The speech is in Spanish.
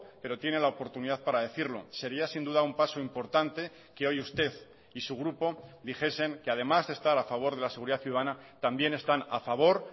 pero tiene la oportunidad para decirlo sería sin duda un paso importante que hoy usted y su grupo dijesen que además de estar a favor de la seguridad ciudadana también están a favor